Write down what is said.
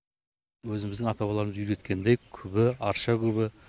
өзіміздің ата бабаларымыз үйреткендей күбі арша күбі